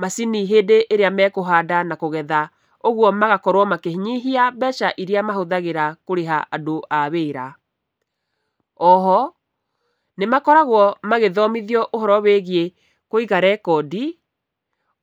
macini hĩndĩ ĩrĩa mekũhanda na kũgetha. Ũguo magakorwo makĩnyihia mbeca irĩa mahũthagĩra kũrĩha andũ a wĩra. Oho, nĩ makoragwo magĩthomithio ũhoro wĩgiĩ kũiga rekondi,